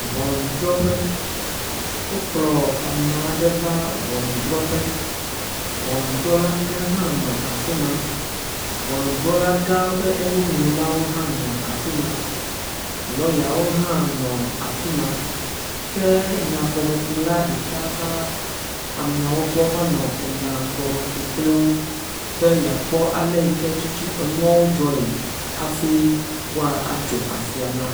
Ŋɔnudrɔƒe. wokplɔ ame aɖe va ŋɔnudrɔƒe. Ŋɔnudrɔla gã hã nɔ afi ma. Ŋɔnudrɔlagã ƒe enunɔlawo hã nɔ afi ma. Lɔyawo hã nɔ afi ma ke nyagɔmekula ɖeka va ameawo gbɔ vanɔ enya gɔme ku kpli wo be yeakpɔ ale yi ke tutu enyawo dzɔe afi woatso afia na wo.